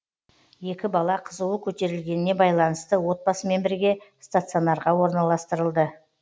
екі бала қызуы көтерілгеніне байланысты отбасымен бірге стационарға орналастырылды